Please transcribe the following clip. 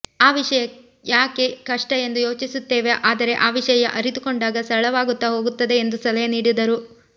ಆ ವಿಷಯ ಯಾಕೆ ಕಷ್ಟ ಎಂದು ಯೋಚಿಸುತ್ತೇವೆ ಆದರೆ ಆ ವಿಷಯ ಅರಿತುಕೊಂಡಾಗ ಸರಳವಾಗುತ್ತ ಹೋಗುತ್ತದೆ ಎಂದು ಸಲಹೆ ನೀಡಿದರು